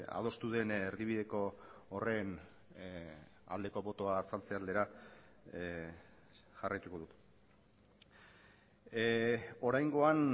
adostu den erdibideko horren aldeko botoa azaltze aldera jarraituko dut oraingoan